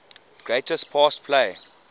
greatest pass play